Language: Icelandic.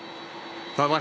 það var